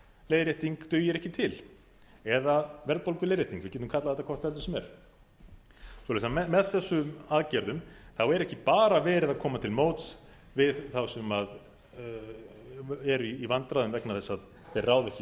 leiðrétting dugir ekki til eða verðbólguleiðrétting við getum kallað þetta hvort heldur sem er svoleiðis að með þessum aðgerðum þá er ekki bara verið að koma til móts við þá sem eru í vandræðum vegna þess að þeir ráða ekki við